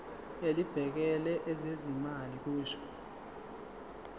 elibhekele ezezimali kusho